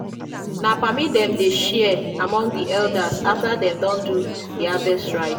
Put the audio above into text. na palmy dem dey share among di elders after dem don do di harvest rites.